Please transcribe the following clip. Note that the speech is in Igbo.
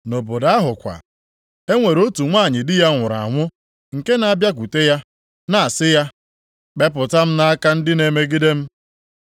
Nʼobodo ahụkwa, e nwere otu nwanyị di ya nwụrụ anwụ nke na-abịakwute ya, na-asị ya, ‘Kpepụta m nʼaka ndị na-emegide m.’